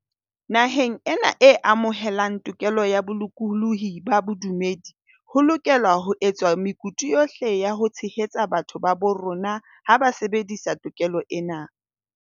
Naheng ena e amohelang tokelo ya bolokolohi ba bodumedi, ho lokelwa ho etswa mekutu yohle ya ho tshehetsa batho ba bo rona ha ba sebedisa to kelo ena.